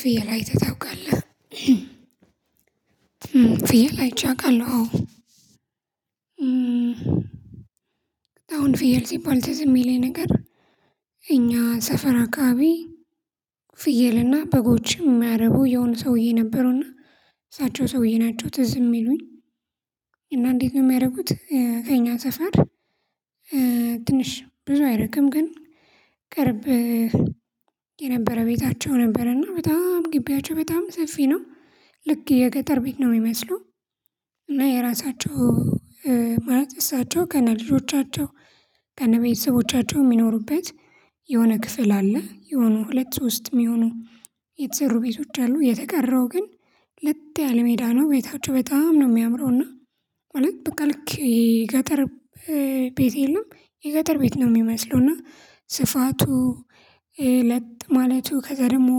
ፍየል አይተህ ታውቃለህ? ፍየል አይቼ አቃለሁ። አሁን ፍየል ሲባል ትዝ የሚለኝ ነገር። እኛ ሰፈራ አካባቢ። ፍየልና በጎችም የሚያርቡ የሆነ ሰውዬ ነበሩና። እሳቸው ሰውዬ ናቸው ትዝ ሚሉኝ እና እንዴት ነው ሚያረጉት ከእኛ ሰፈር? ትንሽ ብዙ አይርቅም ግን ብርብ። የነበረ ቤታቸው ነበርና በጣም ነው ግቢያቸው በጣም ሰፊ ነው። ልክ የገጠር ቤት ነው ሚመስለውሉ። እና የራሳቸው ማለት እሳቸው ከነ ልጆቻቸው ከነ ቤተሰቦቻቸው ሚኖሩበት የሆነ ክፍል አለ። የሆነ ሁለት ሶስት ሚሆኑ የተሰሩ ቤቶች አሉ። የተቀረው ግን ለጥ ያለ ሜዳ ነው ቤታቸው በጣም ነው ሚያምረው። እና ማለት በቃ ልክ ገጠር ቤት የለም። የገጠር ቤት ነው ሚመስለው። እና ስፋቱ ለጥ ማለቱ ከዛ ደግሞ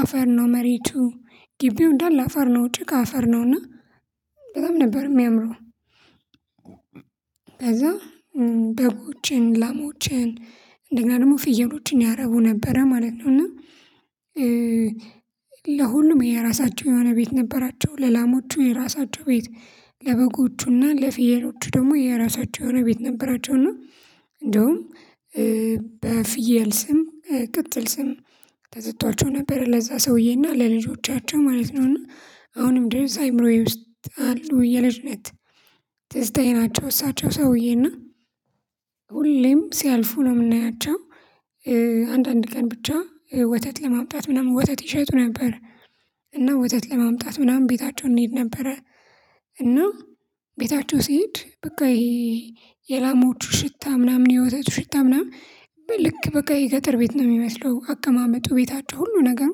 አፈር ነው መሬቱ ግቢው እንዳለ አፈር ነው ጭቃ አፈር ነውና በጣም ነበር ሚያምረው። ከዛ በጎችን ላሞችን እንደገና ደግሞ ፍየሎችን ያረቡ ነበረ ማለት ነው። እና ለሁሉም የራሳቸው የሆነ ቤት ነበራቸው ለላሞቹ የራሳቸው ቤት ለበጎቹና ለፍየሎቹ ደግሞ የራሳቸው የሆነ ቤት ነበራቸው። እና እንደውም በፍየል ስም ቅጥል ስም ተሰቶዋቸው ነበር። ለዛ ሰውዬና ለልጆቻቸው ማለት ነውና አሁንም ድረስ አይምሮዬ ውስጥ አሉ የልጅነት ትዝታዬ ናቸው። እሳቸው ሰውዬና ሁሌም ሲያልፉ ነው ምናያቸው አንዳንድ ቀን ብቻ ወተት ለማምጣት ምናምን ወተት ይሸጡ ነበር። እና ወተት ለማምጣት ምናምን ቤታቸው እንሄድ ነበረ። እና ቤታቸው ሲሄድ በቃ ይሄ የላሞቹ ሽታ ምናምን የወተቱ ሽታ ምናምን ልክ በቃ የገጠር ቤት ነው ሚመስለው። አቀማመጡ ቤታቸው ሁሉ ነገሩ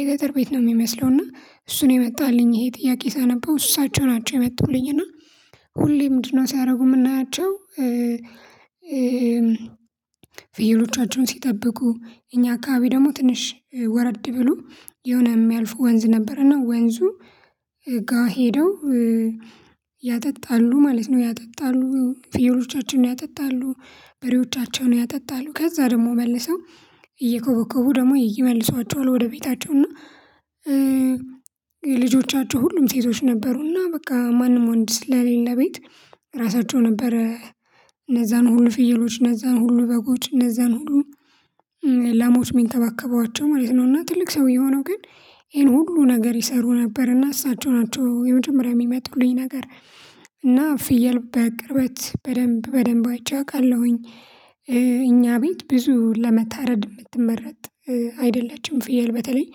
የገጠር ቤት ነው ሚመስለው። እና እሱን የመጣልኝ ይሄ ጥያቄ ሳነበው እሳቸው ናቸው። የመጡልኝ እና ሁሌ ምንድነው? ሲያረጉ ምናያቸው። ፍየሎቻቸውን ሲጠብቁ እኛ አካባቢ ደግሞ ትንሽ ወረድ ብሎ የሆነ ሚያልፉ ወንዝ ነበረና ወንዙ ጋ ሄደው ያጠጣሉ ማለት ነው። ያጠጣሉ ፍየሎቻቸውን ያጠጣሉ በሬዎቻቸውን ያጠጣሉ ከዛ ደግሞ መልሰው እየኮበኮቡ ደግሞ ይመልሷቸዋል ወደ ቤታቸው እና። ልጆቻቸው ሁሉም ሴቶች ነበሩና በቃ ማንም ወንድ ስለሌለ ቤት ራሳቸው ነበረ። እነዛን ሁሉ ፍየሎች እነዛን ሁሉ በጎች እነዛን ሁሉ ላሞች ሚንከባከቡዋቸው ማለት ነው። እና ትልቅ ሰውዬ ሆነው ግን ይሄን ሁሉ ነገር ይሰሩ ነበር እና እሳቸው ናቸው የመጀመሪያ የሚመጡልኝ ነገር። እና ፍየል በቅርበት በደንብ በደንብ አይቼ አቃለሁኝ። እኛ ቤት ብዙ ለመታረድ ምትመረጥ አይደለችም። ፍየል በተለይ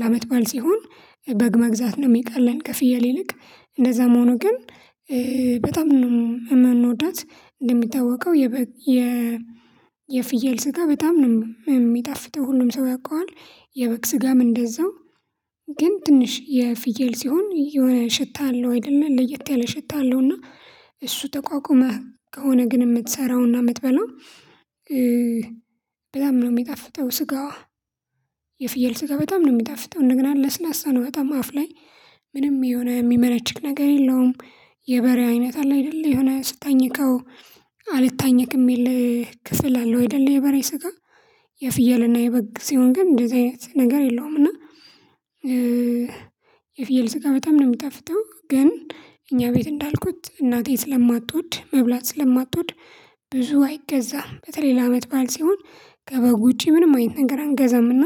ለአመት ባል ሲሆን በግ መግዛት ነው ሚቀለን። ከፍየል ይልቅ እንደዛ መሆኑ ግን በጣም ነው የምንወዳት እንደሚታወቀው። የፍየል ስጋ በጣም ነው የሚጣፍጠው ሁሉም ሰው ያውቀዋል። የበቅ ስጋም እንደዛው ግን ትንሽ የፍየል ሲሆን የሆነ ሽታ አለው። አይደለ ለየት ያለ ሽታ አለው። እና እሱ ተቋቁመህ ከሆነ ግን የምትሰራውና የምትበላው በጣም ነው ሚጣፍተው። ስጋዋ። የፍየል ስጋ በጣም ነው ሚጣፍጠው። እንደገና ለስላሳ ነው በጣም አፍ ላይ ምንም የሆነ ሚመነችክ ነገር የለውም። የበሬ አይነት አለ አይደለ የሆነ ስታኝከው አልታኝከ የሚል ክፍል አለው። አይደለ የበሬ ስጋ የፍየልና የበግ ሲሆን ግን እንደዚህ አይነት ነገር የለውም። እና የፍየል ስጋ በጣም ነው ሚጣፍተው። ግን እኛ ቤት እንዳልኩት እናቴን ስለማትወድ መብላት ስለማትወድ ብዙ አይገዛም በተለይ ለአመት ባል ሲሆን ከበግ ውጪ ምንም አይነት ነገር አንገዛምና።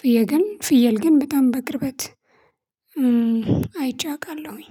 ፍየል ግን ፍየል ግን በጣም በቅርበት አይቼ አቃለሁኝ